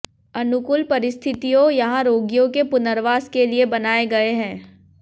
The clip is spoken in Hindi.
अनुकूल परिस्थितियों यहां रोगियों के पुनर्वास के लिए बनाए गए हैं